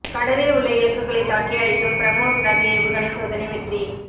கடலில் உள்ள இலக்குகளைத் தாக்கி அழிக்கும் பிரமோஸ் ரக ஏவுகணை சோதனை வெற்றி